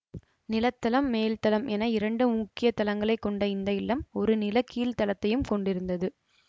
நிலத்தளம் மேல்தளம் என இரண்டு முக்கிய தளங்களைக் கொண்ட இந்த இல்லம் ஒரு நிலக்கீழ்த் தளத்தையும் கொண்டிருந்தது